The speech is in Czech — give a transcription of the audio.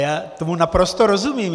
Já tomu naprosto rozumím.